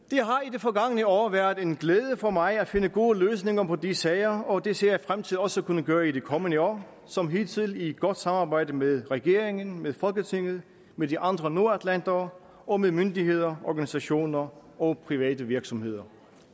det forgangne år været en glæde for mig at finde gode løsninger på de sager og det ser jeg frem til også at kunne gøre i det kommende år som hidtil i godt samarbejde med regeringen med folketinget med de andre nordatlantere og med myndigheder organisationer og private virksomheder